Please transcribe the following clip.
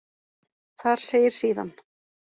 Þar segir síðan: